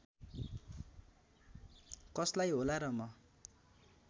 कसलाई होला र म